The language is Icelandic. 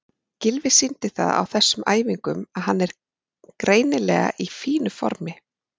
Gylfi sýndi það á þessum æfingum að hann er greinilega í fínu formi.